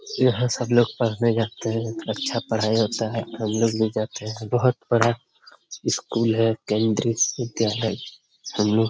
यहां सब लोग पढ़ने जाते हैं बहुत अच्छा पढ़ाई होता है हम लोग भी जाते हैं बहुत बड़ा इस स्कूल है केंद्रीय विद्यालय समूह।